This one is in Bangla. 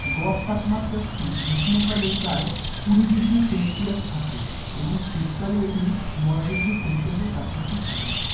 গড় তাপমাত্রা গ্রীষ্মকালের প্রায় কুড়ি degree celsius থাকে এবং শীতকালে এটি নয় degree celsius এর কাছাকাছি থাকে।